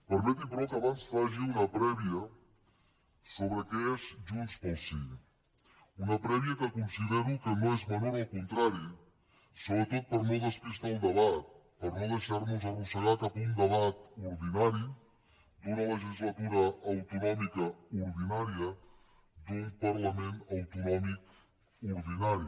permeti però que abans faci una prèvia sobre què és junts pel sí una prèvia que considero que no és menor al contrari sobretot per no despistar el debat per no deixarnos arrossegar cap a un debat ordinari d’una legislatura autonòmica ordinària d’un parlament autonòmic ordinari